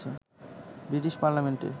British পার্লামেন্টে